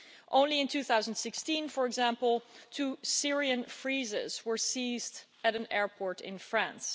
Only in 2016, for example, two Syrian freezers were seized at an airport in France.